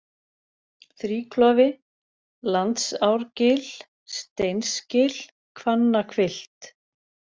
Þríklofi, Landsárgil, Steinsgil, Hvannahvilft